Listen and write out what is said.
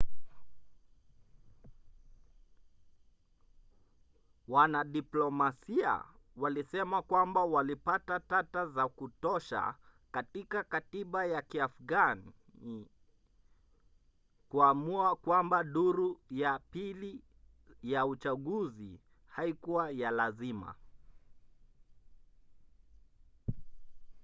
wanadiplomasia walisema kwamba walipata tata za kutosha katika katiba ya kiafgani kuamua kwamba duru ya pili ya uchaguzi haikuwa ya lazima